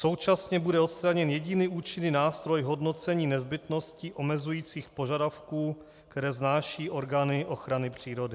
Současně bude odstraněn jediný účinný nástroj hodnocení nezbytnosti omezujících požadavků, které vznášejí orgány ochrany přírody.